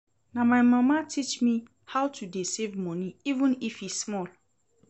Na my mama teach me how to dey save money even if e small